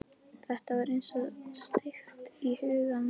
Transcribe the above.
Þetta var eins og steypt í huga hans.